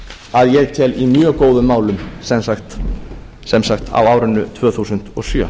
að ég tel í mjög góðum málum sem sagt á árinu tvö þúsund og sjö